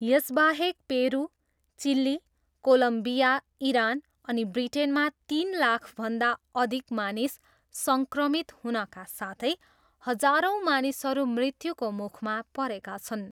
यसबाहेक Peru, Chile, Colombia Iran अनि ब्रिटेनमा तिन लाखभन्दा अधिक मानिस सङ्क्रमित हुनका साथै हजारौँ मानिसहरू मृत्युको मुखमा परेका छन्।